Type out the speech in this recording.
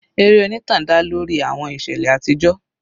Eré onítàn dá lórí àwọn ìṣẹ̀lẹ̀ àtijọ́.